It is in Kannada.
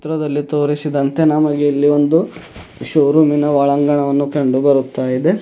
ಚಿತ್ರದಲ್ಲಿ ತೋರಿಸಿದಂತೆ ನಮಗೆ ಇಲ್ಲಿ ಒಂದು ಶೋ ರೂಮ್ ಇನ ಒಳಾಂಗಣವನ್ನು ಕಂಡುಬರುತ್ತಯಿದೆ.